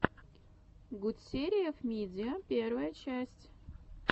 гутсериев мидиа первая часть